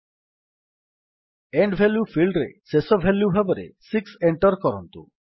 ଇଏନଡି value ଫିଲ୍ଡରେ ଶେଷ value ଭାବରେ 6 ଏଣ୍ଟର୍ କରନ୍ତୁ